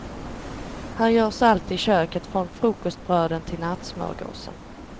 Här görs allt i köket, från frukostbröden till nattsmörgåsen.